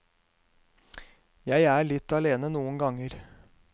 Jeg er litt alene noen ganger.